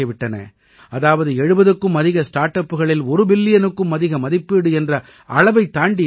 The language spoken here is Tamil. அதாவது 70க்கும் அதிக ஸ்டார்ட் அப்களில் ஒரு பில்லியனுக்கும் அதிக மதிப்பீடு என்ற அளவைத் தாண்டியிருக்கின்றன